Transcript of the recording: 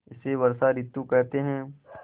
इसे वर्षा ॠतु कहते हैं